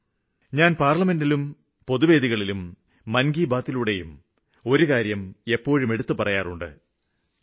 താങ്കള് കേട്ടിട്ടുണ്ടാകും പാര്ലമെന്റില് എന്നെ കേട്ടിട്ടുണ്ടാകും പൊതുസഭകളില് കേട്ടിട്ടുണ്ടാകും മന് കി ബാത്ത് മനസ്സു പറയുന്ന കാര്യങ്ങളില് കേട്ടിട്ടുണ്ടാകും